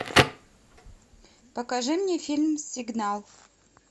покажи мне фильм сигнал